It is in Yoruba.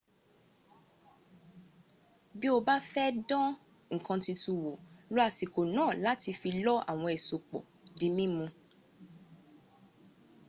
bí o bá ń fẹ́ láti dán nǹkan tuntun wò lo àsìkò náà láti fi lọ àwọn èso pọ̀ di mímu